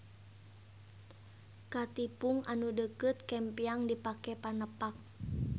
Katipung anu deukeut kempyang dipake panepak.